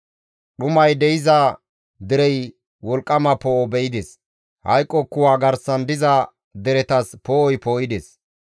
Dhuman de7iza derey wolqqama poo7o be7ides; hayqo kuwa garsan diza deretas poo7oy poo7ides.